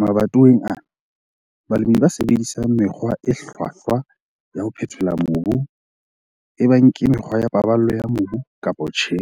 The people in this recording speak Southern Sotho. Mabatoweng ana, balemi ba sebedisang mekgwa e hlwahlwa ya ho phethola mobu, ebang ke mekgwa ya paballo ya mobu kapa tjhe,